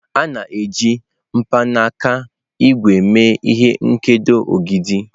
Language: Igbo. A na-eji mkpanaka ígwè eme ihe nkedo ogidi.